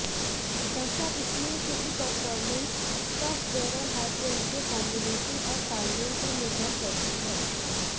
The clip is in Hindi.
ऐसा इसलिए क्योंकि परफॉर्मेंस सॉफ्टवेयर और हार्डवेयर के कॉम्बिनेशन और तालमेल पर निर्भर करती है